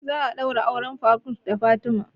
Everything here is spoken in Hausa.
Za a ɗaura auren faruk da fatima